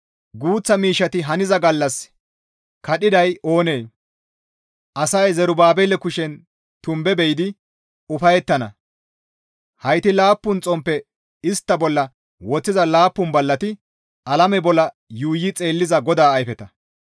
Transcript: «Guuththa miishshati haniza gallassi kadhiday oonee? Asay Zerubaabele kushen tumbe be7idi ufayettana; heyti laappun xomppeta istta bolla woththiza laappun ballati alame bolla yuuyi xeelliza GODAA ayfeta.»